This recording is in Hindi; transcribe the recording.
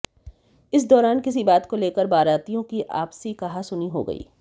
इस दौरान किसी बात को लेकर बारातियों की आपसी कहासुनी हो गई